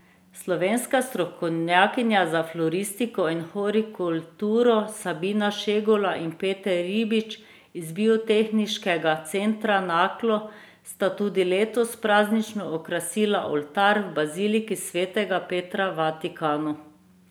Slovenska strokovnjaka za floristiko in hortikulturo Sabina Šegula in Peter Ribič iz Biotehniškega centra Naklo sta tudi letos praznično okrasila oltar v baziliki svetega Petra v Vatikanu.